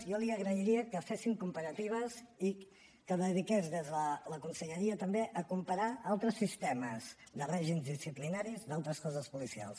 jo li agrairia que fessin comparatives i que es dediqués des de la conselleria també a comparar amb altres sistemes de règims disciplinaris d’altres cossos policials